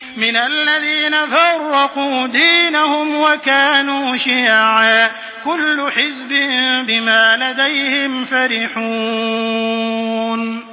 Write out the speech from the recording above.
مِنَ الَّذِينَ فَرَّقُوا دِينَهُمْ وَكَانُوا شِيَعًا ۖ كُلُّ حِزْبٍ بِمَا لَدَيْهِمْ فَرِحُونَ